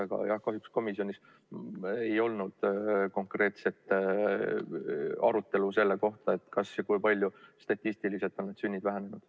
Aga jah, kahjuks komisjonis ei olnud konkreetset arutelu sellest, kas ja kui palju statistiliselt on sünnid vähenenud.